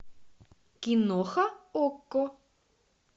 киноха окко